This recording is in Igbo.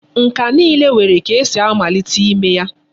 Nka niile nwere ka esi amalite ime ya.